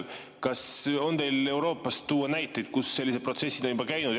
Kas teil on Euroopast tuua näiteid, kus sellised protsessid on juba olnud?